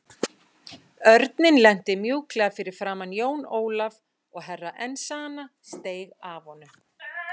Örninn lenti mjúklega fyrir framan Jón Ólaf og Herra Enzana steig af honum.